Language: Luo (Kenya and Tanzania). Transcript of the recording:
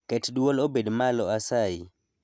Ket dwol obed malo asayi